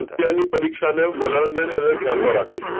અત્યારની પરીક્ષામાં વલણ અને એને ધ્યાનમાં રાખતા